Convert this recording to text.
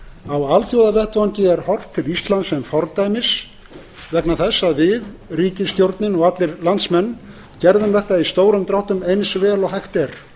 á alþjóðavettvangi er horft til íslands sem fordæmis vegna þess að við ríkisstjórnin og allir landsmenn gerðum þetta í stórum dráttum eins vel og hægt er